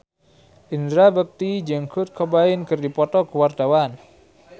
Indra Bekti jeung Kurt Cobain keur dipoto ku wartawan